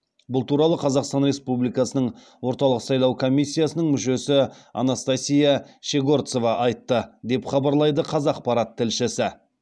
бұл туралы қазақстан республикасының орталық сайлау комиссиясының мүшесі анастасия щегорцова айтты деп хабарлайды қазақпарат тілшісі